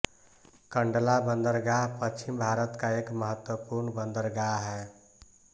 कंडला बंदरगाह पश्चिम भारत का एक महत्वपूर्ण बंदरगाह है